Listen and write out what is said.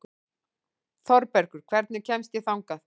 Þorbergur, hvernig kemst ég þangað?